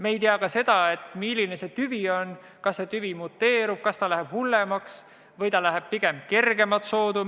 Me ei tea ka seda, milline selle viiruse tüvi on – kas see muteerub, kas see läheb hullemaks või läheb see pigem kergemat soodu?